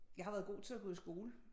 Jeg har været god til at gå i skole